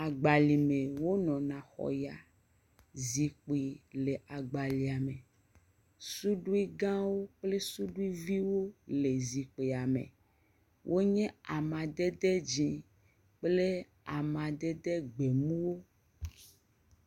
Agbayi me wonɔna kɔ ya. Zikpui le agbalea me. Suɖuigãwoo kple suɖuiviwo le zikpuia me wonmye. Wonye amadede dzi kple amadede gbemu.